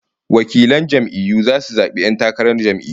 Delegates will vote in the primaries